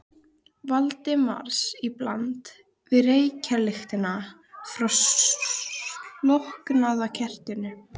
Valdimars í bland við reykjarlyktina frá slokknaða kertinu.